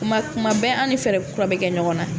Tuma tuma bɛɛ an ni fɛɛrɛ kura bɛ kɛ ɲɔgɔn na